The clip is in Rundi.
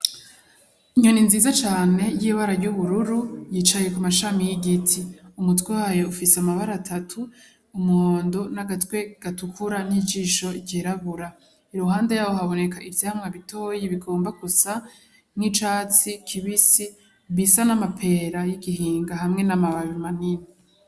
Inyoni nziza cane y'ibara ry'ubururu yicye ku mashami y'igiti umutwe wayo ufise amabara atatu umuhondo n'agatwe gatukura n'ijisho ryirabura iruhande yayo haboneka ivyamwa bitoyi bigomba gusa nicatsi kibisi bisa n'amapera yigihinga hamwe n'amababi manini.